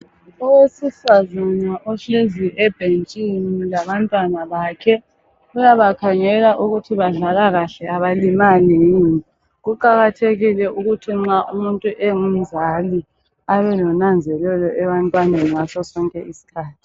Owesifazana ohlezi ebhentshini labantwana bakhe uyabakhangela ukuthi badlala kahle abantwana, abalimali yini. Kuqakathekile ukuthi nxa umuntu engumzali abelonanzelelo ebantwaneni ngasosonke isikhathi